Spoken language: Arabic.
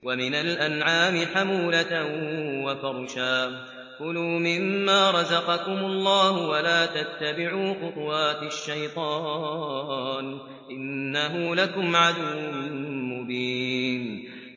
وَمِنَ الْأَنْعَامِ حَمُولَةً وَفَرْشًا ۚ كُلُوا مِمَّا رَزَقَكُمُ اللَّهُ وَلَا تَتَّبِعُوا خُطُوَاتِ الشَّيْطَانِ ۚ إِنَّهُ لَكُمْ عَدُوٌّ مُّبِينٌ